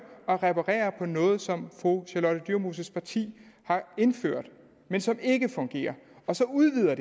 at reparere på noget som fru charlotte dyremoses parti har indført men som ikke fungerer og så udvider